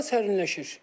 Hava sərinləşir.